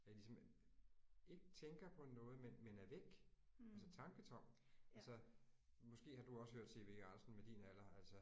Jeg ligesom ikke tænker på noget men men er væk altså tanketom altså måske har du også hørt C V Jørgensen med din alder altså